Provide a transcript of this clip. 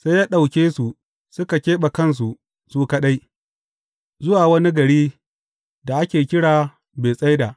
Sai ya ɗauke su, suka keɓe kansu su kaɗai, zuwa wani gari da ake kira Betsaida.